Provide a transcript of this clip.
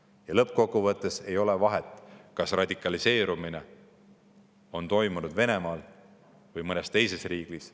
Ja lõppkokkuvõttes ei ole vahet, kas radikaliseerumine on toimunud Venemaal või mõnes teises riigis.